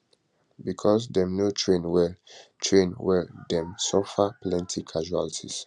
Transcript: becos dem no train well train well dem dey suffer plenty casualties